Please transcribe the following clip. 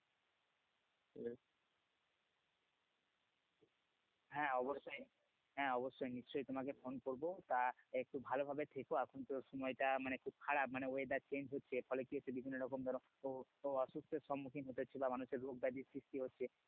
হ্যাঁ অবশ্যই হ্যাঁ অবশ্যই নিশ্চয়ই তোমাকে ফোন করব তা একটু ভালোভাবে থেকো এখন তো সময় টা মানে খুব খারাপ মানে weather change হচ্ছে ফলে বিভিন্ন রকম ধরো অসুস্থ এর সম্ভাবনা মানুষের রোগ ব্যাধির সৃষ্টি হচ্ছে